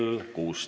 Kõike head!